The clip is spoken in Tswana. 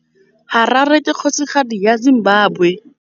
Harare ke kgosigadi ya Zimbabwe.